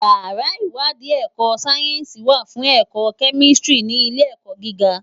Iyàrá iwàdí èkò sáyènsí wá fún èkò kèmístìrí ni ilé èkò gigá